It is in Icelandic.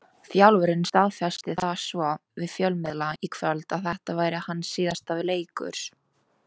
Þjálfarinn staðfesti það svo við fjölmiðla í kvöld að þetta væri hans síðasti leikur.